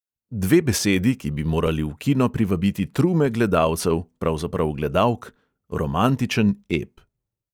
Dve besedi, ki bi morali v kino privabiti trume gledalcev, pravzaprav gledalk: romantičen ep.